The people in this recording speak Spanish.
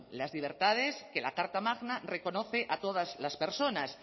las libertades que la carta magna reconoce a todas las personas